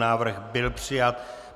Návrh byl přijat.